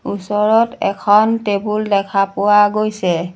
ওচৰত এখন টেবুল দেখা পোৱা গৈছে।